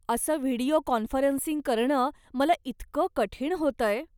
असं video conferencing करणं मला इतकं कठीण होतंय.